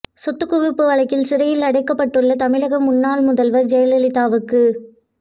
சொத்துக் குவிப்பு வழக்கில் சிறையில் அடைக்கப்பட்டுள்ள தமிழக முன்னாள் முதல்வர் ஜெயலலிதாவுக்கு